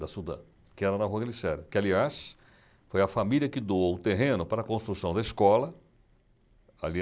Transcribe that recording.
Da Sudan, que era na Rua Glicério, que, aliás, foi a família que doou o terreno para a construção da escola. Ali